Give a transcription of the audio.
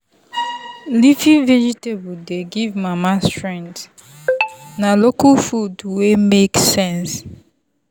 leafy veg dey give mama strength na local food wey make sense.